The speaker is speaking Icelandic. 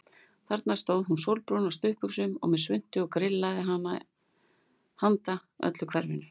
Þarna stóð hún sólbrún á stuttbuxum og með svuntu og grillaði handa öllu hverfinu.